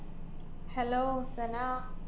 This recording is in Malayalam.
Hello സനാ